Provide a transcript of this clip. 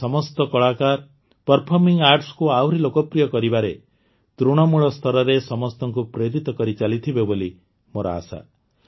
ଏହି ସମସ୍ତ କଳାକାର ପର୍ଫମିଂ ଆର୍ଟସକୁ ଆହୁରି ଲୋକପ୍ରିୟ କରିବାରେ ତୃଣମୂଳ ସ୍ତରରେ ସମସ୍ତଙ୍କୁ ପ୍ରେରିତ କରିଚାଲିଥିବେ ବୋଲି ମୋର ଆଶା